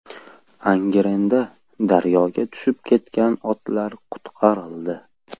Angrenda daryoga tushib ketgan otlar qutqarildi .